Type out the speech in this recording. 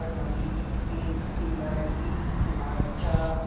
यखभजि एक पीला रंग की ईमारत च।